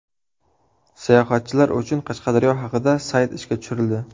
Sayohatchilar uchun Qashqadaryo haqida sayt ishga tushirildi.